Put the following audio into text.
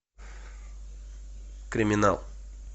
криминал